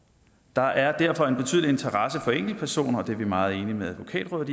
der er derfor en betydelig interesse for enkeltpersoner og det er vi meget enige med advokatrådet